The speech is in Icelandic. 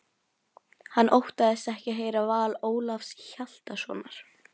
Hann óttaðist ekki að heyra val Ólafs Hjaltasonar.